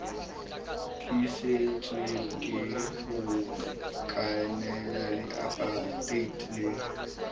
tlisitsweng ke bokoloniale aparteite le